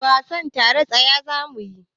Wasan tsere mai tsayi zamuyi.